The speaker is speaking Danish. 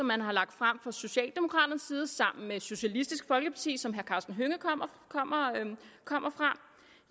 man har lagt frem fra socialdemokraternes side sammen med socialistisk folkeparti som herre karsten hønge kommer fra